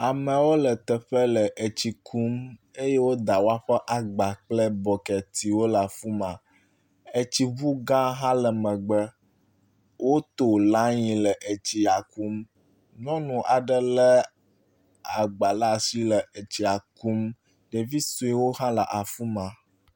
Amewo le teƒe le tsi kum eye woda woƒe agba kple bɔketiwo ɖe afi ma. Etsiŋu gã hã le megbe. Woto lani le etsia kum. Nyɔnu aɖe le agba ɖe asi le etsia kum, ɖevi suewo hã le afi ma.